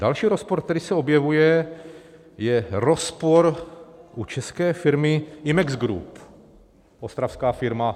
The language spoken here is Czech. Další rozpor, který se objevuje, je rozpor u české firmy Imex Group, ostravská firma.